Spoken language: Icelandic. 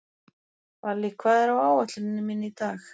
Vallý, hvað er á áætluninni minni í dag?